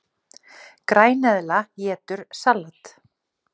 Græneðla étur salat!